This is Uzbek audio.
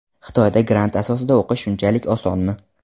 Xitoyda grant asosida o‘qish shunchalik osonmi?